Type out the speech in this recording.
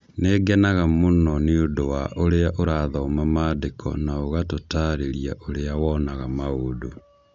Nĩ ngenaga mũno nĩ ũndũ wa ũrĩa ũrathoma Maandĩko na ũgatũtaarĩria ũrĩa wonaga maũndũ